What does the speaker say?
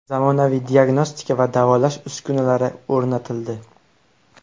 Zamonaviy diagnostika va davolash uskunalari o‘rnatildi.